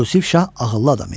Yusif Şah ağıllı adam idi.